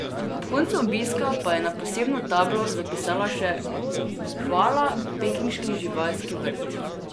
Ob koncu obiska pa je na posebno tablo zapisala še: "Hvala, pekinški živalski vrt!